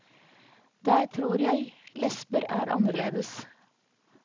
Der tror jeg lesber er annerledes.